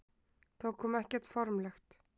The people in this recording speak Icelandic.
Það kom ekkert formlegt.